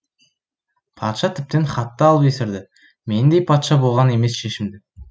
патша тіптен хатты алып есірді мендей патша болған емес шешімді